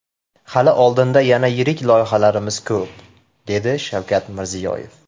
Hali oldinda yana yirik loyihalarimiz ko‘p”, dedi Shavkat Mirziyoyev.